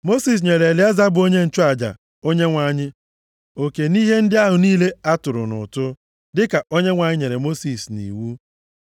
Mosis nyere Elieza bụ onye nchụaja Onyenwe anyị oke nʼihe ndị ahụ niile a tụrụ nʼụtụ, dịka Onyenwe anyị nyere Mosis nʼiwu.